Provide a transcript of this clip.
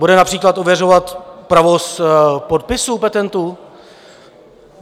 Bude například ověřovat pravost podpisů petentů?